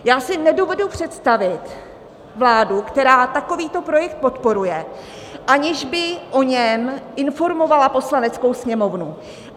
Já si nedovedu představit vládu, která takovýto projekt podporuje, aniž by o něm informovala Poslaneckou sněmovnu.